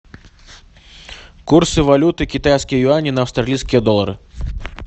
курсы валюты китайские юани на австралийские доллары